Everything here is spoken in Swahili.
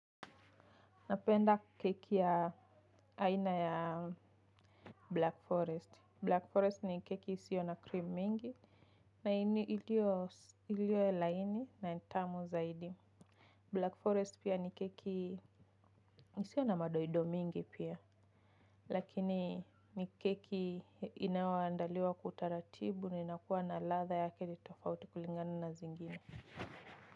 Napenda keki ya aina ya Black Forest. Black Forest ni keki isiyo na cream mingi. Na ini ilio ilio laini na ni tamu zaidi. Black Forest pia ni keki isiyo na madoido mingi pia. Lakini ni keki inayoandaliwa kwa utaratibu ni inakuwa na ladha yake tofauti kulingana na zingine.